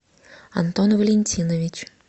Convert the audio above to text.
антон валентинович